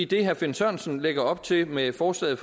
det herre finn sørensen lægger op til med forslaget